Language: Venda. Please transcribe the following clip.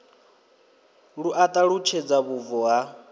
lu a ṱalutshedza vhubvo ha